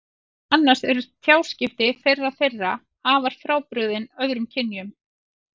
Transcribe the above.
Meðal annars eru tjáskipti þeirra þeirra afar frábrugðin öðrum kynjum.